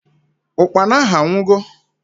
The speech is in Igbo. Ụkpana ahu awugo?